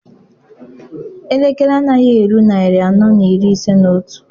Elekere anaghị eru narị anọ na iri ise na otu.